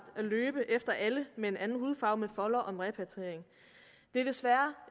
at løbe efter alle med en anden hudfarve med foldere om repatriering det er desværre